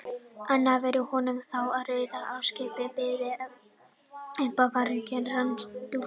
anna væri honum þá í raun óskiljanleg og byði upp á fáránlegar rangtúlkanir.